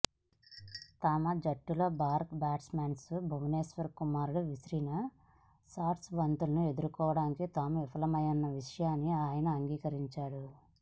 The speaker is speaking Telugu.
తమ జట్టులో భారత్ బ్యాట్స్మన్ భువనేశ్వర్ కుమార్ విసిరిన షార్ట్ బంతులను ఎదుర్కోవడంలో తాము విఫలమైన విషయాన్ని ఆయన అంగీరించాడు